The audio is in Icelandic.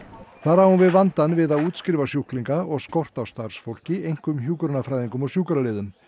þar á hún við vandann við að útskrifa sjúklinga og skort á starfsfólki einkum hjúkrunarfræðingum og sjúkraliðum